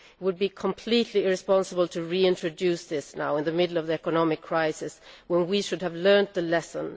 It would be completely irresponsible to reintroduce this now, in the middle of the economic crisis, when we should have learnt our lesson.